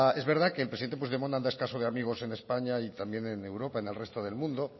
es verdad que el presidente puigdemont anda escaso de amigos en españa y también en europa en el resto del mundo